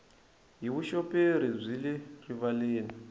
hi vuxoperi byi le rivaleni